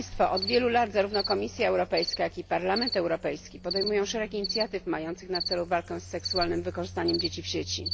Od wielu lat zarówno Komisja Europejska, jak i Parlament Europejski podejmują szereg inicjatyw mających na celu walkę z seksualnym wykorzystaniem dzieci w sieci.